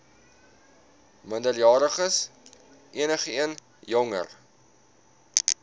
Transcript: minderjariges enigeen jonger